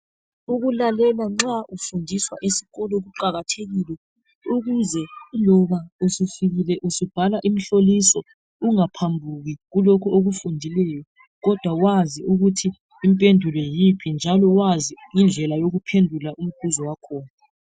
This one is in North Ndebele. Ukulalela nxa ufundiswa esikolo kuqakathekile ukuze loba usufikile usubhala imihloliso ungaphambuki kulokhu okufundileyo kodwa wazi ukuthi impendulo yiphi njalo wazi indlela yokuphendula umibuzo wakhona.